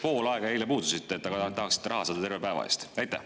Pool aega eile puudusite, aga raha tahaksite saada terve päeva eest?